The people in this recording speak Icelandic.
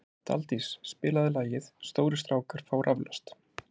Daldís, spilaðu lagið „Stórir strákar fá raflost“.